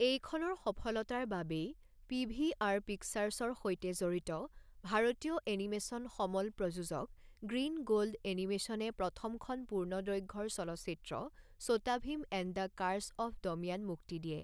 এইখনৰ সফলতাৰ বাবেই পি.ভি.আৰ. পিকচাৰ্ছৰ সৈতে জড়িত ভাৰতীয় এনিমেচন সমল প্ৰযোজক গ্ৰীণ গ'ল্ড এনিমেশ্যনে প্ৰথমখন পূৰ্ণদৈৰ্ঘ্যৰ চলচ্চিত্ৰ Chhota Bheem and the curse of Damyaan মুক্তি দিয়ে।